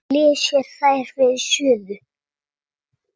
Flysjið þær þá fyrir suðu.